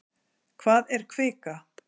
Hvað er kvika?